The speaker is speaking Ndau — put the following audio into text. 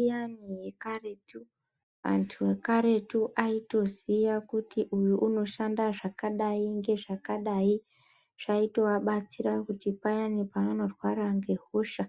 Iyani yekaretu, antu ekaretu aitoziya kuti uyu unoshanda zvakadai ngezvakadai. Zvaitovabatsira kuti payani pavanorwara ngehosha,